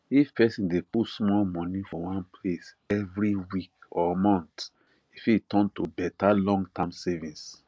if person dey put small money for one place every week or month e fit turn to better longterm savings